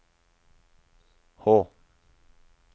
H